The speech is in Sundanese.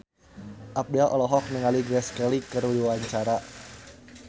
Abdel olohok ningali Grace Kelly keur diwawancara